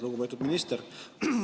Lugupeetud minister!